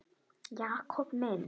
Jakob minn.